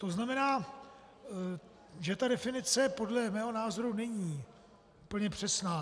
To znamená, že ta definice podle mého názoru není úplně přesná.